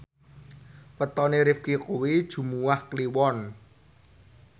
wetone Rifqi kuwi Jumuwah Kliwon